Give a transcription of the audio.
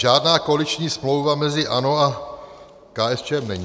Žádná koaliční smlouva mezi ANO a KSČM není.